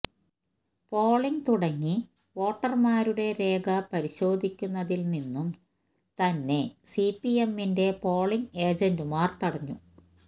polling തുടങ്ങി വോട്ടര്മാരുടെ രേഖ പരിശോധിക്കുന്നതില്നിന്നും തന്നെ സിപിഎമ്മിന്റെ പോളിങ് ഏജന്റുമാര് തടഞ്ഞു